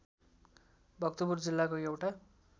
भक्तपुर जिल्लाको एउटा